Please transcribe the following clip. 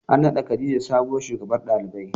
An naɗa khadijah sabuwar shugabar ɗalibai.